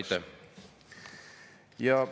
Aitäh!